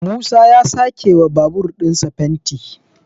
musa ya a sake wa babur ɗinsa fenti